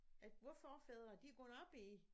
At vore forfædre de er gået op i